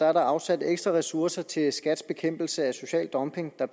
er der afsat ekstra ressourcer til skats bekæmpelse af social dumping og